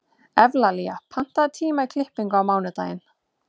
Evlalía, pantaðu tíma í klippingu á mánudaginn.